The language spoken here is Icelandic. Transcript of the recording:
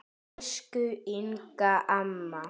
Elsku Inga amma.